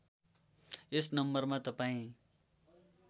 यस नम्बरमा तपाईँ